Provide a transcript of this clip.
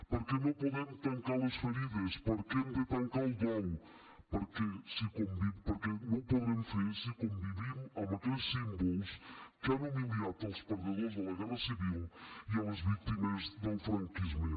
perquè no podem tancar les ferides perquè hem de tancar el dol perquè no ho podrem fer si convivim amb aquells símbols que han humiliat els perdedors de la guerra civil i les víctimes del franquisme